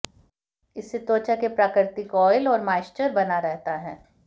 इससे त्वचा के प्राकृतिक ऑयल और मॉइश्चर बना रहता है